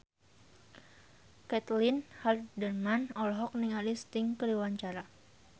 Caitlin Halderman olohok ningali Sting keur diwawancara